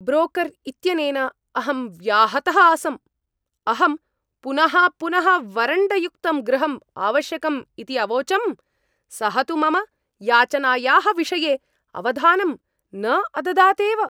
Broker इत्यनेन अहं व्याहतः आसम्। अहं पुनः पुनः वरण्डयुक्तं गृहम् आवश्यकम् इति अवोचम्, सः तु मम याचनायाः विषये अवधानं न अददात् एव।